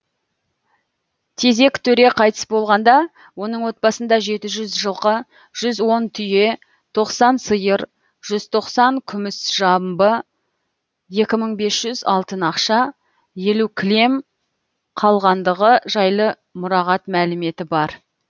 тезек төре қайтыс болғанда оның отбасында жеті жүз жылқы жүз он түйе тоқсан сиыр жүз тоқсан күміс жамбы екі мың бес жүз алтын ақша елу кілем қалғандығы жайлы мұрағат мәліметі бар